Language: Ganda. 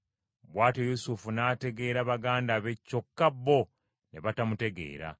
Bw’atyo Yusufu n’ategeera baganda be kyokka bo ne batamutegeera.